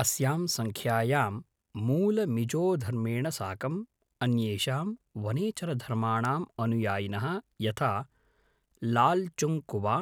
अस्यां सङ्ख्यायां मूलमिजोधर्मेण साकं, अन्येषां वनेचरधर्माणाम् अनुयायिनः यथा लालचुङ्गकुवा,